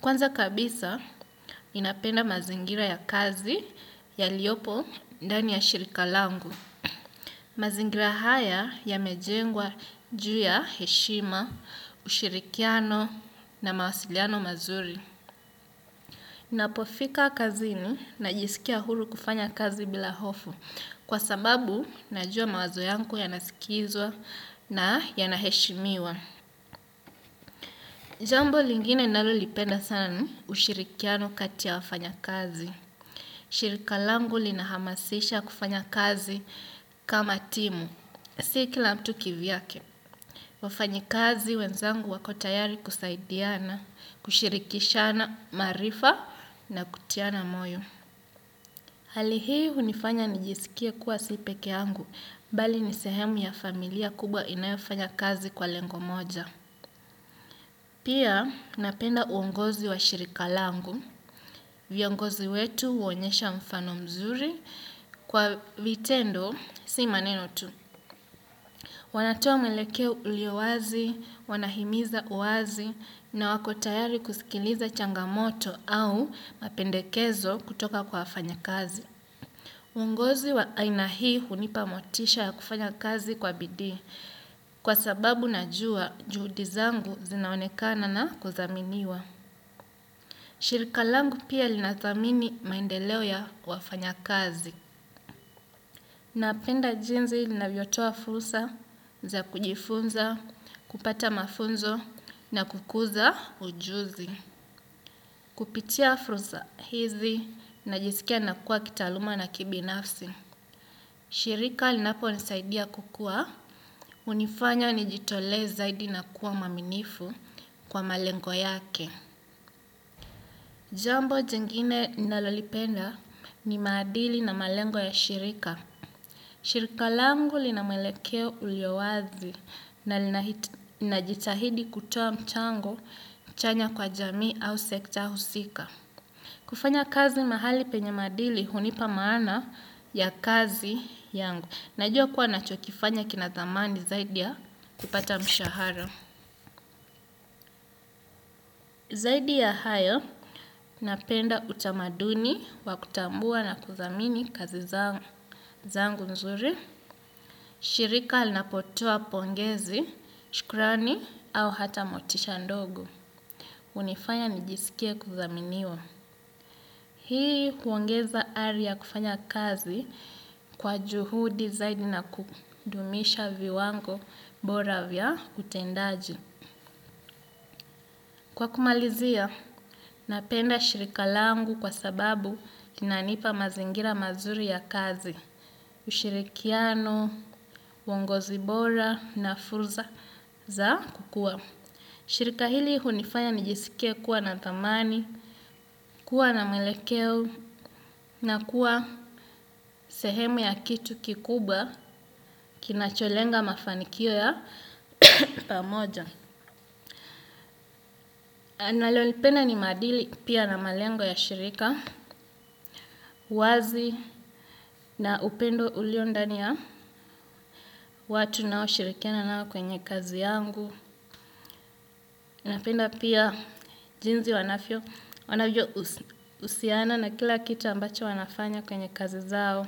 Kwanza kabisa inapenda mazingira ya kazi yaliopo ndani ya shirika langu. Mazingira haya yamejengwa ju ya heshima, ushirikiano na mawasiliano mazuri. Ninapo fika kazini najisikia huru kufanya kazi bila hofu kwa sababu najua mawazo yangu yanasikizwa na yana heshimiwa. Jambo lingine ninalo lipenda sana ushirikiano kati ya wafanya kazi. Shirika langu linahamasisha kufanya kazi kama timu, si kila mtu kivyake. Wafanyi kazi wenzangu wako tayari kusaidiana, kushirikishana maarifa na kutiana moyo. Hali hii hunifanya nijisikie kuwa si pekee yangu, bali nisehemu ya familia kubwa inayofanya kazi kwa lengo moja. Pia, napenda uongozi wa shirika langu. Viongozi wetu huonyesha mfano mzuri kwa vitendo si maneno tu. Wanatoa mwelekeo ulio wazi, wanahimiza uazi, na wako tayari kusikiliza changamoto au mapendekezo kutoka kwa wafanyi kazi. Uongozi wa aina hii hunipa motisha ya kufanya kazi kwa bidi kwa sababu najua juhudi zangu zinaonekana na kudhaminiwa. Shirika langu pia linadhamini maendeleo ya wafanyi kazi. Napenda jinsi linavyo toa fursa za kujifunza, kupata mafunzo na kukuza ujuzi. Kupitia fursa hizi najisikia nakuwa kitaluma na kibinafsi. Shirika linapo nisaidia kukuwa, hunifanya nijitole zaidi na kuwa mwaminifu kwa malengo yake. Jambo jingine ninalo lipenda ni maadili na malengo ya shirika. Shirika langu linamwelekeo ulio wazi na linajitahidi kutoa mchango, chanya kwa jamii au sekta husika. Kufanya kazi mahali penye maadili hunipa maana ya kazi yangu. Najua kuwa nacho kifanya kina dhamani zaidi ya kupata mshahara. Zaidi ya hayo napenda utamaduni wa kutambua na kudhamini kazi zangu nzuri. Shirika linapotoa pongezi, shukrani au hata motisha ndogo. Hunifanya nijisikie kudhaminiwa. Hii huongeza ari ya kufanya kazi kwa juhudi zaidi na kudumisha viwango bora vya utendaji. Kwa kumalizia, napenda shirika langu kwa sababu kina nipa mazingira mazuri ya kazi, ushirikiano, uongozi bora na fursa za kukua. Shirika hili hunifanya nijisikie kuwa na dhamani, kuwa na mwelekeo na kuwa sehemu ya kitu kikubwa kinacholenga mafanikio ya pamoja. Ninalolipenda ni madili pia na malengo ya shirika, wazi na upendo ulio ndani ya watu unao shirikiana nao kwenye kazi yangu. Napenda pia jinsi wanavyo, wanavyo husiana na kila kitu ambacho wanafanya kwenye kazi zao.